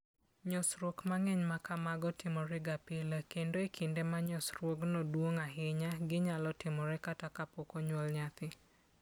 Nyosruok mang'eny ma kamago timorega pile, kendo e kinde ma nyosruokno duong' ahinya, ginyalo timore kata kapok onyuol nyathi.